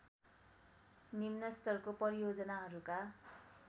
निम्न स्तरको परियोजनाहरूका